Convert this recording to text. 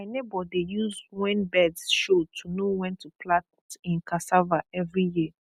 my neighbour dey use when birds show to know when to plant him cassava every year